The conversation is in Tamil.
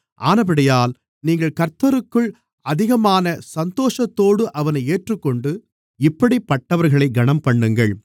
ஆனபடியால் நீங்கள் கர்த்தருக்குள் அதிகமான சந்தோஷத்தோடு அவனை ஏற்றுக்கொண்டு இப்படிப்பட்டவர்களைக் கனம்பண்ணுங்கள்